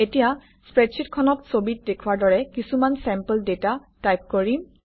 এতিয়া স্প্ৰেডশ্বিটখনত ছবিত দেখুওৱাৰ দৰে কিছুমান চেম্পল ডাটা টাইপ কৰিম